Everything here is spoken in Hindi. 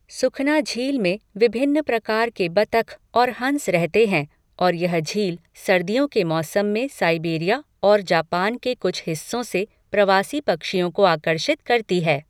सुखना झील में विभिन्न प्रकार के बतख और हंस रहते हैं और यह झील सर्दियों के मौसम में साइबेरिया और जापान के कुछ हिस्सों से प्रवासी पक्षियों को आकर्षित करती है।